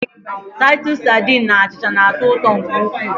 Taịtọs sadin na achịcha na-atọ ụtọ nke ukwuu.